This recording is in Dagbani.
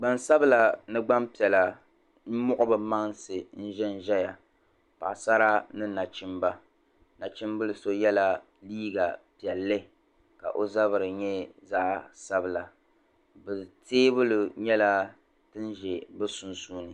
Gban'sabila ni gban'piɛla muɣi bɛ mansi ʒin ʒiya paɣasara ni nachimba nachimbil'so yɛla liiga piɛlli ka o zabiri nyɛ zaɣ'sabila teebuli nyɛla din ʒi bɛ sunsuuni.